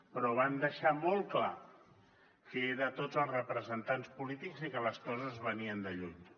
però van deixar molt clar que era a tots els representants polítics i que les coses venien de lluny